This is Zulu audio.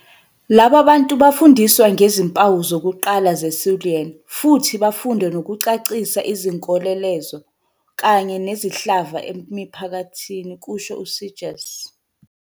"Laba bantu bafundiswa ngezimpawu zokuqala ze-Siluan futhi bafunde nokucacisa izinkoleloze kanye nesihlava emiphakathini," kusho u-Seegers.